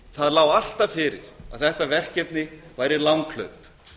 það lá alltaf fyrir að þetta verkefni væri langhlaup